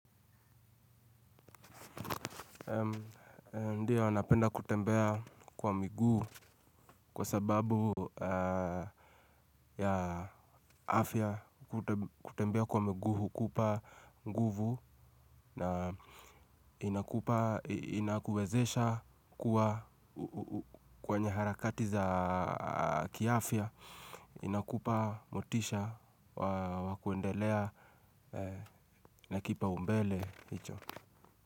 Ndio nanapenda kutembea kwa miguu kwa sababu ya afya kutembea kwa miguu hukupa nguvu na inakupa inakuwezesha kuwa kwenye harakati za kiafya inakupa motisha wakuendelea na kipa umbele hicho.